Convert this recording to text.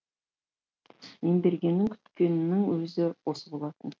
ембергеннің күткенінің өзі осы болатын